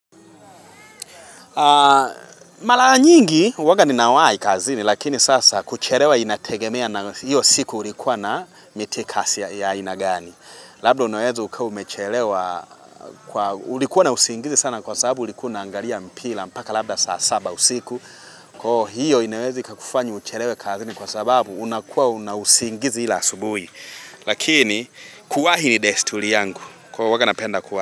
Mara nyingi huwaga ninawahi kazini lakini sasa kuchelewa inategemea na hiyo siku ulikuwa na mitikasi ya ainagani Labda unaweza ukawaumechelewa kwa ulikuwa na usingizi sana kwa sababu ulikuwa unaangalia mpira mpaka labda saa saba usiku Kwa hiyo inaweza ikakufanya uchelewe kazini kwa sababu unakuwa na usingizi la asubuhi Lakini kuwahi ni desturi yangu kwa huwaga napenda kuwahi.